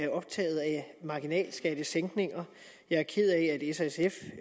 marginalskattesænkninger jeg er ked af